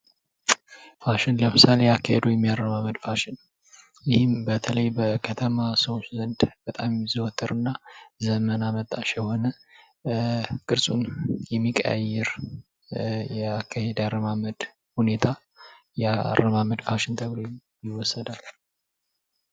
ፋሽን፦ ለምሳሌ የአካሄድ ወይም የአረማመድ ፋሽን በተለይ በከተማ ሰዎች ዘንድ በጣም የሚዘወተሩ እና ዘመን አመጣሽ የሆነ ቅርጹን የሚቀያይር የአካሄድ ወይም አረማመድ አይነት ነው።